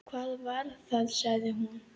Hvað var það? sagði hún.